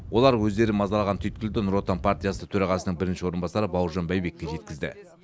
олар өздерін мазалаған түйткілді нұр отан партиясы төрағасының бірінші орынбасары бауыржан байбекке жеткізді